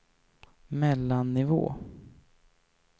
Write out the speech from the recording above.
mellannivå